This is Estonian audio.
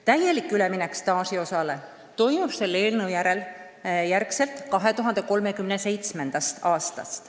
Täielik üleminek staažiosale toimub selle eelnõu järgi 2037. aastal.